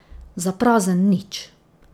Za prazen nič.